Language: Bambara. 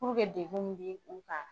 dekun min be u kan